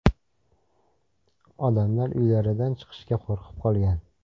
Odamlar uylaridan chiqishga qo‘rqib qolgan.